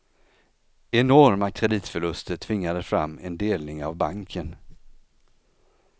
Enorma kreditförluster tvingade fram en delning av banken.